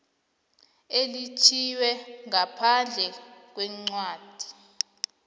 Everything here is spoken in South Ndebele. elitjhiywe ngaphandle kwencwadi